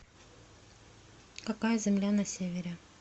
какая земля на севере